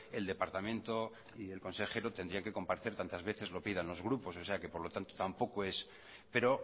el departamento y el consejero tendrían que comparecer tantas veces lo pidan los grupos o sea que por lo tanto tampoco es pero